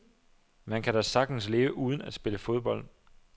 Man kan da sagtens leve uden at spille fodbold.